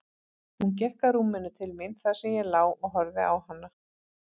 Hún gekk að rúminu til mín þar sem ég lá og horfði á hana.